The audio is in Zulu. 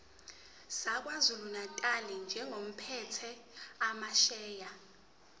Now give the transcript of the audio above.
sakwazulunatali njengophethe amasheya